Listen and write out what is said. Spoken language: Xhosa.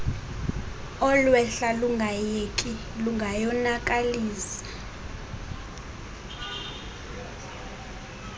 olwehla lungayeki lungayonakalisa